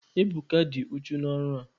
Ebuka, dị uchu n'ọrụ a!